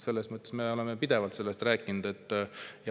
Selles mõttes me oleme pidevalt sellest rääkinud.